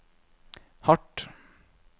hardt